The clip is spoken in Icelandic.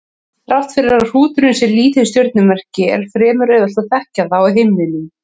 Þrátt fyrir að hrúturinn sé lítið stjörnumerki er fremur auðvelt að þekkja það á himninum.